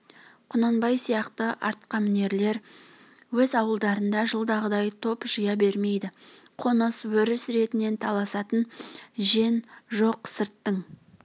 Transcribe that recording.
құнанбай сияқты атқамінерлер өз ауылдарына жылдағыдай топ жия бермейді қоныс өріс ретінен таласатын жен жоқ сырттың